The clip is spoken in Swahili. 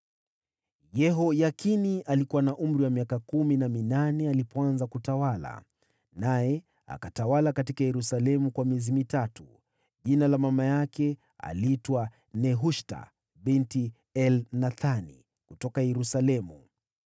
Yehoyakini alikuwa na miaka kumi na minane alipoanza kutawala, naye akatawala huko Yerusalemu miezi mitatu. Jina la mama yake aliitwa Nehushta binti Elnathani kutoka Yerusalemu.